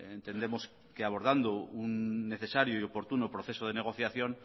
entendemos que abordando un necesario y oportuno proceso de negociación